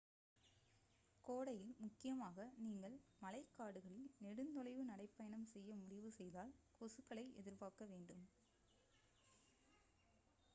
கோடையில் முக்கியமாக நீங்கள் மழைக்காடுகளில் நெடுந் தொலைவு நடைப் பயணம் செய்ய முடிவு செய்தால் கொசுக்களை எதிர்பார்க்க வேண்டும்